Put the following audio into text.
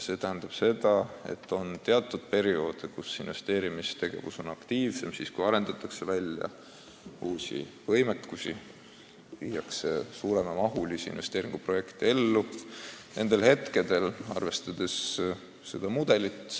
See tähendab seda, et on teatud perioode, kus investeerimistegevus on aktiivsem: see on siis, kui arendatakse välja uusi võimekusi, viiakse ellu suurema mahuga investeeringuprojekte.